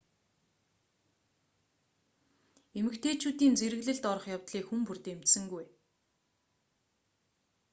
эмэгтэйчүүдийн зэрэглэлд орох явдлыг хүн бүр дэмжсэнгүй